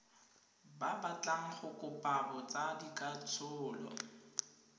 ba batlang go kopa botsadikatsholo